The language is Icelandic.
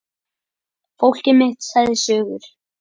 Fólkið mitt sagði sögur.